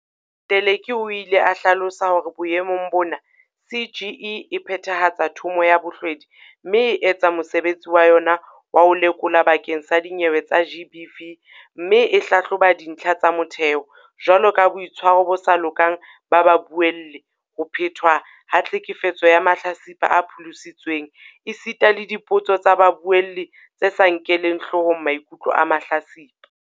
Teleki o ile a hlalosa hore boemong bona CGE e phethahatsa Thomo ya Bohlwedi mme e etsa mosebetsi wa yona wa ho lekola bakeng sa dinyewe tsa GBV mme e hlahloba dintlha tsa motheo, jwaloka boitshwaro bo sa lokang ba babuelli, ho phetwa ha tlhekefetso ya mahlatsipa a pholositsweng esita le dipotso tsa babuelli tse sa nkeleng hlohong maikutlo a mahlatsipa.